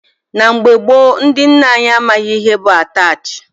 Na mgbe gboo, ndị nne anyị amaghị ihe bụ Ataach.